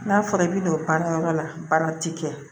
N'a fɔra i bɛ don baarakɛyɔrɔ la baara ti kɛ